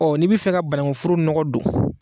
n'i bɛ fɛ ka banagunforo nɔgɔ don